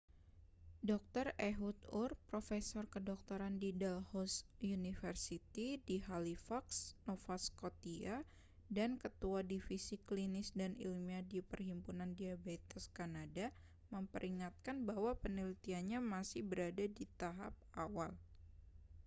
dr ehud ur profesor kedokteran di dalhousie university di halifax nova scotia dan ketua divisi klinis dan ilmiah di perhimpunan diabetes kanada memperingatkan bahwa penelitiannya masih berada di tahap awal